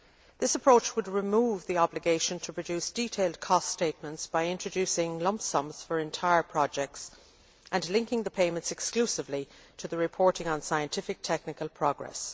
This approach would remove the obligation to produce detailed cost statements by introducing lump sums for entire projects and linking the payments exclusively to the reporting on scientific technical progress.